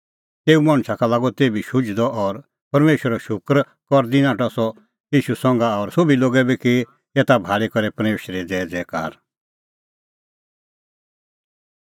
तेऊ मणछा का लागअ तेभी शुझदअ और परमेशरो शूकर करदी नाठअ सह ईशू संघा और सोभी लोगै बी की एता भाल़ी करै परमेशरे ज़ैज़ैकार